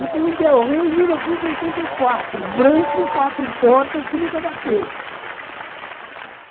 Eu tenho um Del Rey de mil novecentos e oitenta e quatro, branco, quatro portas, que nunca bateu.